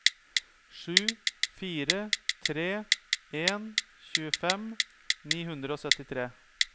sju fire tre en tjuefem ni hundre og syttitre